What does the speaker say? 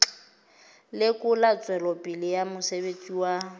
lekola tswelopele ya mosebetsi wa